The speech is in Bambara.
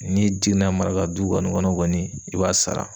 N'i den namarala du kɔni kɔnɔ kɔni i b'a sara.